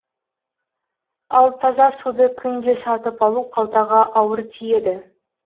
ал таза суды күнде сатып алу қалтаға ауыр тиеді